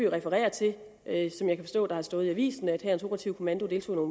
refererer til er som jeg kan forstå der har stået i avisen at hærens operative kommando deltog